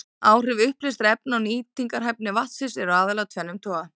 Áhrif uppleystra efna á nýtingarhæfni vatnsins eru aðallega af tvennum toga.